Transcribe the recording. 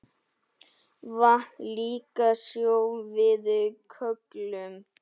Vatn líka sjó við köllum.